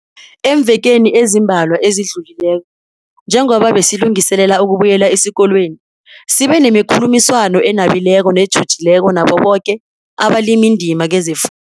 Eemvekeni ezimbalwa ezidlulileko, njengoba besilungiselela ukubuyela esikolweni, sibe nemikhulumiswano enabileko netjhujileko nabo boke abalimindima kezefundo.